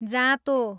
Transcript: जाँतो